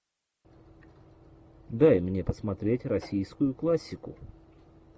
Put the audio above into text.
дай мне посмотреть российскую классику